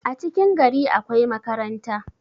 a cikin gari akwai makaranta